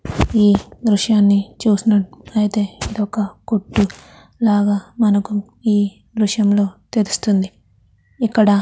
ఈ దృశ్యాన్ని చూసినట్టు అయితె ఇది ఒక కొట్టు లాగా మనకు ఈ దృశ్యంలో తెలుస్తుంది. ఇక్కడ --